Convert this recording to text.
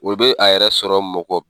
O be a yɛrɛ sɔrɔ mɔgɔ